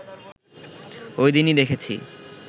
ঐদিনই দেখেছি